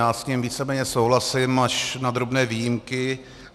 Já s ním víceméně souhlasím, až na drobné výjimky.